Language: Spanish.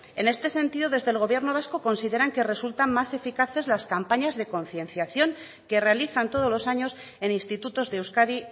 en este sentido desde el gobierno vasco consideran que resultan más eficaces las campañas de concienciación que realizan todos los años en institutos de euskadi